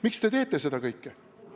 Miks te teete seda kõike?